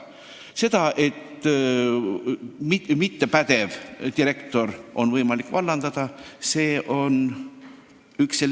See, et mittepädev direktor oleks õige vallandada, tuleb välja selgitada.